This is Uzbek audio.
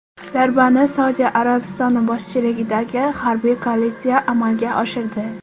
Zarbani Saudiya Arabistoni boshchiligidagi harbiy koalitsiya amalga oshirdi.